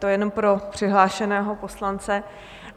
To jenom pro přihlášeného poslance.